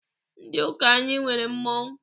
Ndị ụka anyị nwere mmọnwụ.